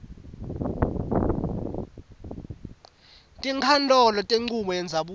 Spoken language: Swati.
tinkhantolo tenchubo yendzabuko